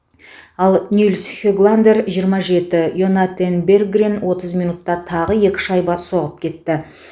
ал нильс хегландер жиырма жеті йонатан берггрен отыз минутта тағы екі шайба соғып кетті